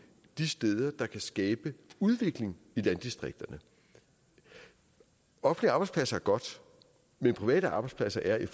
de steder der kan skabe udvikling i landdistrikterne offentlige arbejdspladser er godt men private arbejdspladser er i